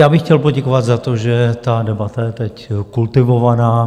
Já bych chtěl poděkovat za to, že ta debata je teď kultivovaná.